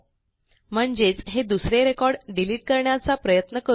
म्हणजेच हे दुसरे रेकॉर्ड डिलिट करण्याचा प्रयत्न करू या